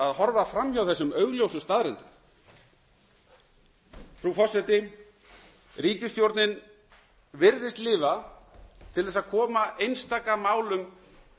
að horfa fram hjá þessum augljósu staðreyndum frú forseti ríkisstjórnin virðist lifa til þess að koma einstaka málum